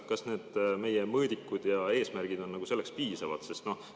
Kas need meie mõõdikud ja eesmärgid on selleks piisavad?